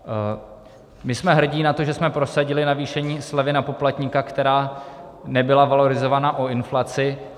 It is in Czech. My jsme hrdí na to, že jsme prosadili navýšení slevy na poplatníka, která nebyla valorizovaná o inflaci.